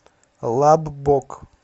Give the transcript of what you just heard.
лаббок